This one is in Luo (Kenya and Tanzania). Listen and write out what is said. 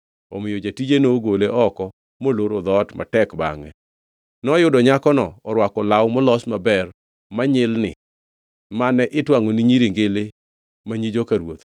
Omiyo jatije nogole oko moloro dhoot matek bangʼe. Noyudo nyakono orwako law molos maber manyilni mane itwangʼo ni nyiri ngili ma nyi joka ruoth.